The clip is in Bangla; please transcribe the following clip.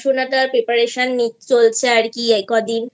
Preparationনিচ্ছি চলছে আর এই কদিন